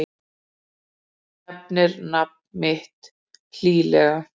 Hún nefnir nafnið mitt hlýlega.